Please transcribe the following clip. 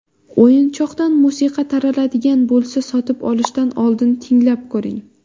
O‘yinchoqdan musiqa taraladigan bo‘lsa, sotib olishdan oldin tinglab ko‘ring.